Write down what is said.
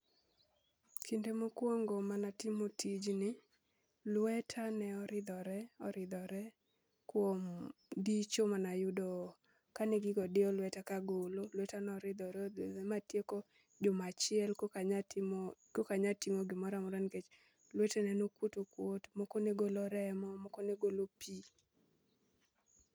Kinde mokwongo mana timo tijni, lweta ne oridhore oridhore kuom dicho mana yudo kane gigo diyo lweta kagolo. Lweta noridhore odhuro matieko juma achiel kokanya timo kokanya timo gimora mora nikech lwetena nokwot okwot. Moko ne golo remo, moko ne golo pi.